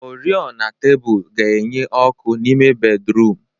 Oriọna tebụl ga-enye ọkụ n'ime bédrụum.